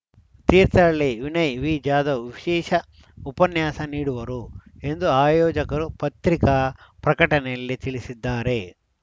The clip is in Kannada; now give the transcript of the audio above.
ತೀರ್ಥಹಳ್ಳಿ ವಿನಯ್‌ವಿ ಜಾಧವ್‌ ವಿಶೇಷ ಉಪನ್ಯಾಸ ನೀಡುವರು ಎಂದು ಆಯೋಜಕರು ಪತ್ರಿಕಾ ಪ್ರಕಟಣೆಯಲ್ಲಿ ತಿಳಿಸಿದ್ದಾರೆ